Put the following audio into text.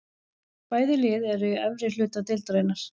Bæði lið eru í efri hluta deildarinnar.